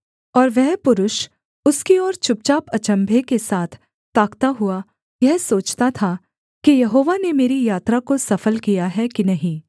और वह पुरुष उसकी ओर चुपचाप अचम्भे के साथ ताकता हुआ यह सोचता था कि यहोवा ने मेरी यात्रा को सफल किया है कि नहीं